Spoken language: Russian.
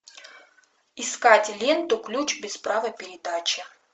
искать ленту ключ без права передачи